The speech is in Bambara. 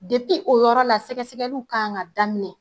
Depi o yɔrɔ la sɛgɛsɛgɛliw kan ka daminɛ